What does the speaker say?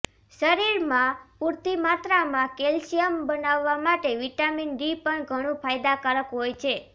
શરીરમાં પૂરતી માત્રામાં કેલ્શિયમ બનાવવા માટે વિટામિન ડી પણ ઘણુ ફાયદાકારક હોય છે